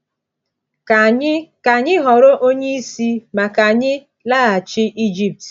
Ka anyị Ka anyị họrọ onye isi, ma ka anyị laghachi Egypt!”